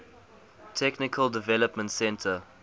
technical development center